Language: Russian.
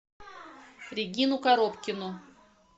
регину коробкину